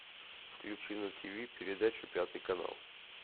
включи на тв передачу пятый канал